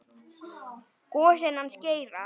Gosinn hans Geira.